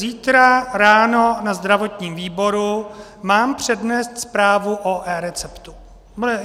Zítra ráno na zdravotním výboru mám přednést zprávu o eReceptu.